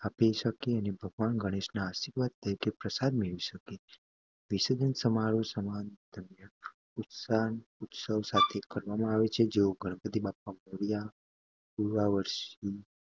અંજલિ આપી શકે અને ભગવાન ગણેશના આશીર્વાદ તરીકે પ્રસાદ મેળવી શકે વિસર્જન સમારોહ સમાન ઉત્સાહ અને ઉત્સવ સાથે કરવામાં આવે છે જે લોકો ગણપતિ બાપ્પા મોર્યા પૂર્ચા વરશી